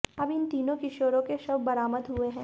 अब इन तीनों किशारों के शव बरामद हुए हैं